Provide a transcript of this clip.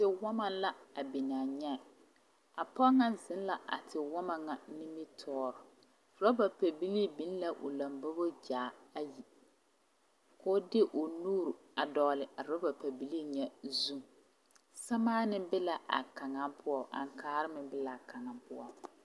Tewɔma la a biŋ a nyɛɛ a pɔge ŋa zeŋ la tewɔma ŋa nimitɔɔreŋ rɔba pɛbilii biŋ la o lombobo gyaa a viiri k'o de o nuuri a dogli a rɔba pɛbilii zu samaani be la a kaŋa poɔ aŋkaare be la a kaŋa poɔ.